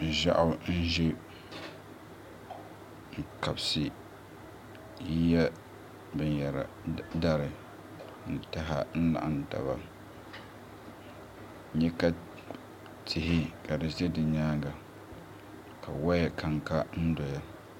Ʒiɛɣu n ʒɛ n kabisi yiya dari ni taha n laɣam taba ka n nyɛ ka tihi ka di ʒɛ di nyaanga ka woya kanka n doya